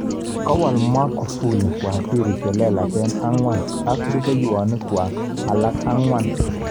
Kawal Magufjli waziri chelelach angwan ak rupehwokik alak angwan.